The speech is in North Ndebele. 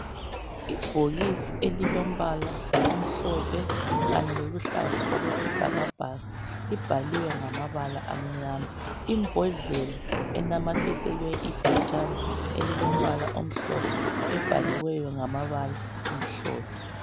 Ibhokisi elilombala omhlophe kanye loluhlaza okwesibhakabhaka libhaliwe ngamabala amnyama imbodlela enamathiselwe iphetshana elilombala omhlophe ebhaliweyo ngamabala amhlophe